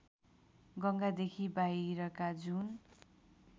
गङ्गादेखि बाहिरका जुन